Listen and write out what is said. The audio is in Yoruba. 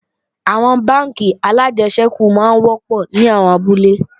Àwọn bánkì alájẹsẹ́kù máa ń wọ́pọ̀ ní àwọn abúlé